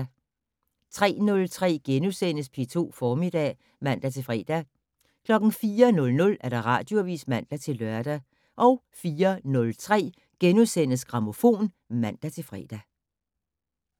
03:03: P2 Formiddag *(man-fre) 04:00: Radioavis (man-lør) 04:03: Grammofon *(man-fre)